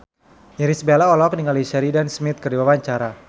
Irish Bella olohok ningali Sheridan Smith keur diwawancara